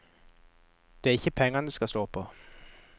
Det er ikke pengene det står på.